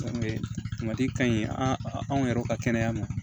ka ɲi an yɛrɛw ka kɛnɛya ma